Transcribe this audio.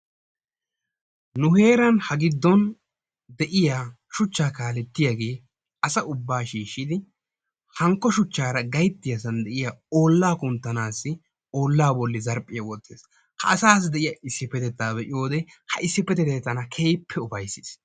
Nu heeran ha giddon de'iyaa suchchaa kaalettiyaagee asa ubbaa shiishshidi hankko shuchchara gayittiyaasan de'iyaa ollaa kunttanaassi ollaa bolli zarphphiya wottees. ha asaassi de'iyaa issippetettaa be'iyoode ha issippetettay tana keehippe ufayssees.